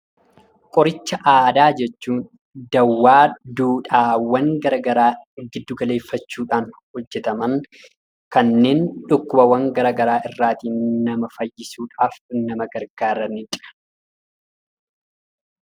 Qoricha aadaa jechuun daawaa duudhaawwan gara garaa giddu galeeffachuudhaan hojjetaman; kanneen dhukkubawwan gara garaa irraatii nama fayyisuudhaaf nama gargaaranidha.